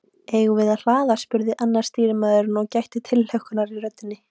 Eigum við að hlaða? spurði annar stýrimaður og gætti tilhlökkunar í röddinni.